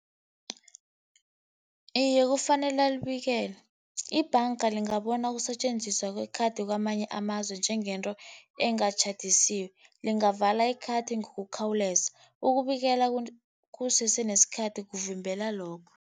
Iye, kufanele ayibikele. Ibhanga lingabona ukusetjenziswa kwe-card kwamanye amazwe njengento engajabulisiko. Lingavala i-card ngokukhawuleza. Ukubikela kusese nesikhathi kuvimbela lokho.